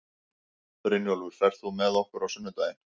Brynjólfur, ferð þú með okkur á sunnudaginn?